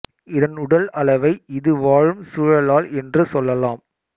இதன் உடல் அளவை இது வாழும் சூழலால் என்று சொல்லலாம்